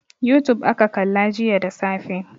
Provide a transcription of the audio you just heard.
Youtube aka kalla jiya da safe.